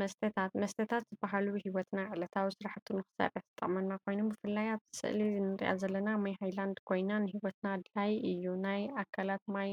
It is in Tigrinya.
መስታታት መስተታት ዝበሃሉ ሂወትና ዕለታዊ ስራሕቱ ንክሰርሕ ዝጠቅመና ኮይኑ ብፍላይ ኣብ ስእዚ እንረኣ ዘለና ማይ ሃይላድ ኮይና ንሂወትና ኣድላይ እዩ። ናይ ኣካላት ማይ